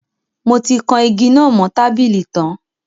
Mo ti kan igi náà mo tábìlì tan